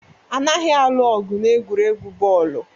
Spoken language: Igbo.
Anaghị alụ ọgụ n'egwuregwu bọọlụ